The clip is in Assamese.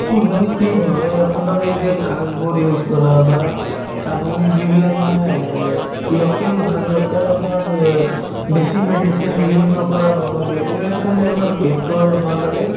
মানে কি হয় আপোনাৰ এই যে শাকবোৰ use কৰা বা আপুনি যিবিলাক মানে local মানে local আপোনাৰ অ বেছি medicine use নকৰা বনোৱা বিলাক এইবিলাক খালে আমাৰ পেটতো অলপ ভাল থাকে